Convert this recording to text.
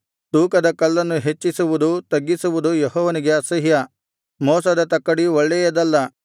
ತೂಕದ ಕಲ್ಲನ್ನು ಹೆಚ್ಚಿಸುವುದು ತಗ್ಗಿಸುವುದು ಯೆಹೋವನಿಗೆ ಅಸಹ್ಯ ಮೋಸದ ತಕ್ಕಡಿ ಒಳ್ಳೆಯದಲ್ಲ